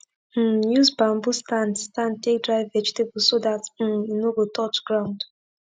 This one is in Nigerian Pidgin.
um use bamboo stand stand take dry vegetable so dat um e no go touch ground